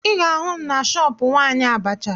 Ị ga-ahụ m na shọọpụ nwaanyị abacha